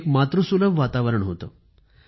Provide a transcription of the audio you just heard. एक मातृसुलभ वातावरण होतं